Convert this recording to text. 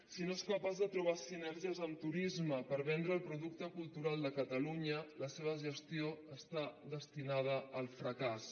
si no és capaç de trobar sinergies amb turisme per vendre el producte cultural de catalunya la seva gestió està destinada al fracàs